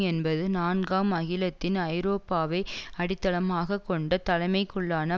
என்பது நான்காம் அகிலத்தின் ஐரோப்பாவை அடித்தளமாக கொண்ட தலைமைக்குள்ளான